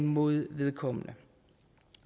mod vedkommende